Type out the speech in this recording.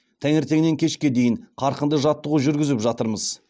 таңертеңнен кешке дейін қарқынды жаттығу жүргізіп жатырмыз